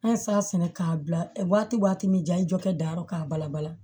An sa sɛnɛ k'a bila waati min jayɔrɔ k'a bala bala